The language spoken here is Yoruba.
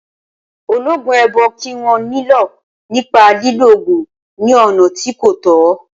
Ológun èèbó kì wọ́n nílọ̀ nípa lílo ògùn ní ọ̀nà tí kò tọ́